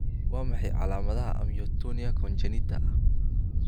Waa maxay calaamadaha iyo calaamadaha Amyotonia congenita?